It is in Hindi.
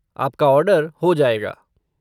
आपका ऑर्डर हो जाएगा।